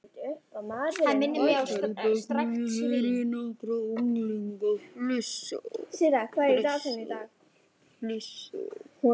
Utar í bekknum heyri ég nokkra unglinga flissa.